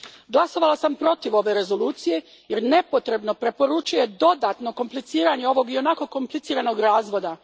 Glasovala sam protiv ove Rezolucije jer nepotrebno preporučuje dodatno kompliciranje ovog ionako kompliciranog razvoda.